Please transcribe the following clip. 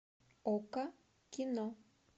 окко кино